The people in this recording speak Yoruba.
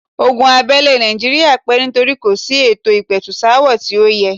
Ogun abẹ́lé nàìjíría pẹ́ nítorí kò sí ètò ìpẹ̀tùsááwọ̀ tí ó yẹ.